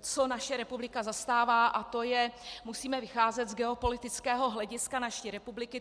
co naše republika zastává, a to je: musíme vycházet z geopolitického hlediska naší republiky.